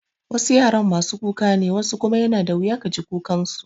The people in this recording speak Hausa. Wasu yaran masu kuka ne wasu kuma yana da wuya ka ji kukan su.